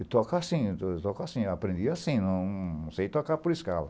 Eu toco assim, eu toco assim, eu aprendi assim, não sei tocar por escala.*